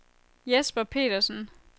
Jesper Petersen